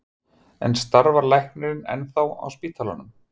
En starfar læknirinn ennþá á spítalanum?